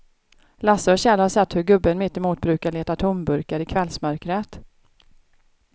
Lasse och Kjell har sett hur gubben mittemot brukar leta tomburkar i kvällsmörkret.